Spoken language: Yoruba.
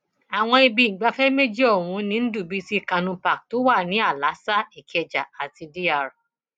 àwọn ibi ìgbafẹ méjì ọhún ni ndubuisi kanu park tó wà ní àlàáṣá ìkẹjà àti dr